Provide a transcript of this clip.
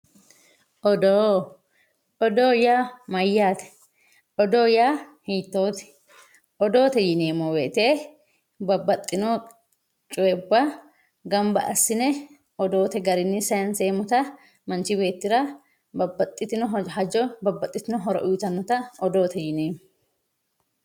Odoo. odoo yaa mayyaate odoo yaa hiittoote odoote yineemmo woyiite babbaxxino coyiibba gamba assine odoote garinni sayiinseemmota manchi beettira babbaxxitino hajo babbaxxitino horo uyiitannote odoote yineemmo